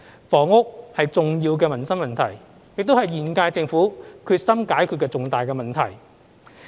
房屋是重要的民生問題，亦是現屆政府決心解決的重大問題。